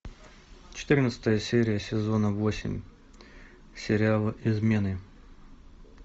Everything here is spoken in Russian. четырнадцатая серия сезона восемь сериала измены